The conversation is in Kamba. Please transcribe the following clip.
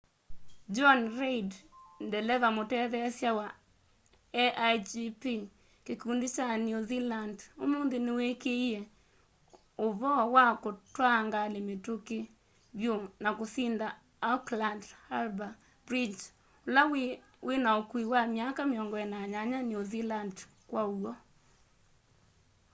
jonny reid ndeleva mũtetheesya wa a1gp kĩkũndĩ kya new zealand ũmũnthĩ nĩwĩkĩĩe ũvoo kwa kũtwaa ngalĩ mĩtũkĩ vyũ na kũsĩnda auckland harbour bridge ũla wĩna ũkũũ wa myaka 48 new zealand kwa ũw'o